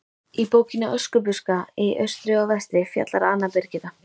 Í bókinni Öskubuska í austri og vestri fjallar Anna Birgitta